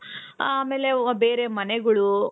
ಆಮೇಲೆ ಬೇರೆ ಮನೆಗಳು..